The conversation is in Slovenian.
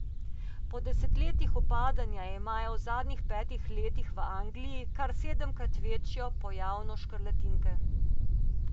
Po desetletjih upadanja imajo v zadnjih petih letih v Angliji kar sedemkrat večjo pojavnosti škrlatinke.